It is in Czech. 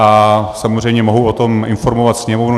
A samozřejmě mohu o tom informovat Sněmovnu.